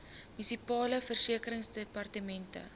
munisipale verkeersdepartemente